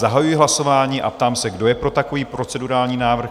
Zahajuji hlasování a ptám se, kdo je pro takový procedurální návrh?